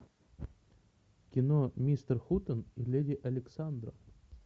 кино мистер хутен и леди александра